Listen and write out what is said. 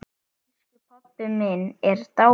Elsku pabbi minn er dáinn!